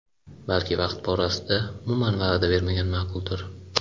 Balki vaqt borasida umuman va’da bermagan ma’quldir?